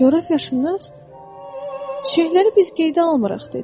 Coğrafiyaşünas çiçəkləri biz qeydə almırıq, dedi.